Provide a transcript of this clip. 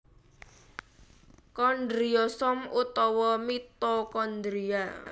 Kondriosom utawa mitokondria